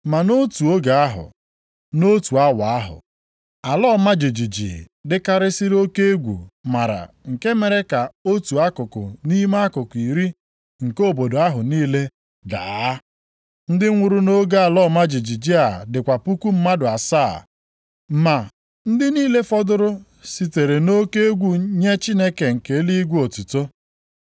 Ma nʼotu oge ahụ, nʼotu awa ahụ, ala ọma jijiji dịkarịsịrị oke egwu mara nke mere ka otu akụkụ nʼime akụkụ iri nke obodo ahụ niile daa. Ndị nwụrụ nʼoge ala ọma jijiji a dịkwa puku mmadụ asaa. Ma ndị niile fọdụrụ sitere nʼoke egwu nye Chineke nke eluigwe otuto.